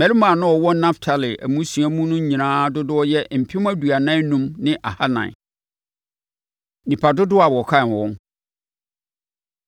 Mmarima a na wɔwɔ Naftali mmusua nyinaa mu no dodoɔ yɛ mpem aduanan enum ne ahanan (45,400). Nnipa Dodoɔ A Wɔkan Wɔn